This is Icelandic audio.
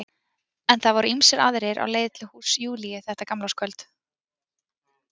En það voru ýmsir aðrir á leið til húss Júlíu þetta gamlárskvöld.